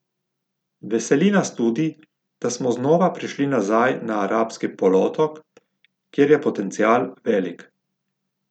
Veseli nas tudi, da smo znova prišli nazaj na arabski polotok, kjer je potencial velik.